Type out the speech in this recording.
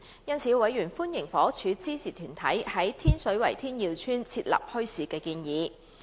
因此，委員歡迎房屋署支持團體在天水圍天耀邨設立墟市的建議。